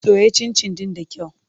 Soya cincin ɗin da kyau.